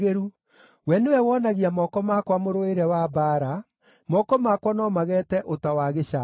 We nĩwe wonagia moko makwa mũrũĩre wa mbaara; moko makwa no mageete ũta wa gĩcango.